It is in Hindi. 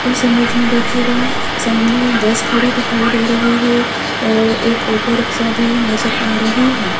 इस इमेज में देखिएगा सामने बस खड़ी दिखाई दे रही है और एक ऑटो रिक्शा भी नजर आ रही है।